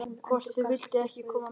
Hvort þau vildu ekki koma með?